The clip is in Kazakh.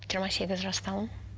жиырма сегіз жастамын